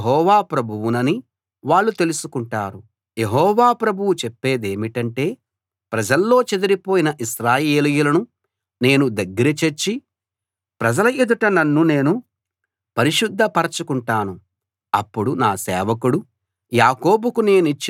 యెహోవా ప్రభువు చెప్పేదేమిటంటే ప్రజల్లో చెదిరిపోయిన ఇశ్రాయేలీయులను నేను దగ్గర చేర్చి ప్రజల ఎదుట నన్ను నేను పరిశుద్ధ పరచుకుంటాను అప్పుడు నా సేవకుడు యాకోబుకు నేనిచ్చిన తమ దేశంలో వాళ్ళు నివసిస్తారు